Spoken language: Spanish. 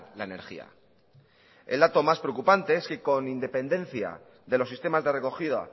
la energía el dato más preocupante es que con independencia de los sistemas de recogida